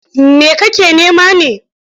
Me kake nema ne?